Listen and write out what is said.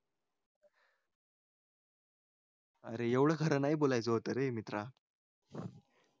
अरे एवढं खरं नाही बोलायचे होतेय मित्रा